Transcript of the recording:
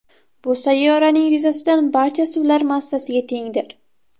Bu sayyoraning yuzasidan barcha suvlar massasiga tengdir.